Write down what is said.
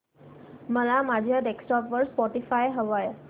मला माझ्या डेस्कटॉप वर स्पॉटीफाय हवंय